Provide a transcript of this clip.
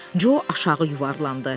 Co aşağı yuvarlandı.